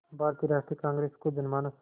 भारतीय राष्ट्रीय कांग्रेस को जनमानस